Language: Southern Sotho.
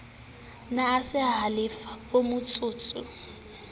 ne a sa halefe vmotsotso